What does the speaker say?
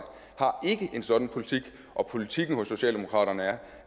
har ikke en sådan politik politikken hos socialdemokratiet er